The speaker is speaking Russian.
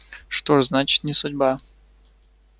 что ж значит не судьба